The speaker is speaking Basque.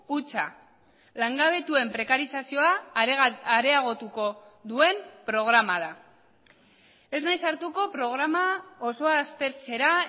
hutsa langabetuen prekarizazioa areagotuko duen programa da ez naiz sartuko programa osoa aztertzera